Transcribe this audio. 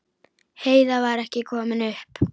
Heiða var ekki komin upp.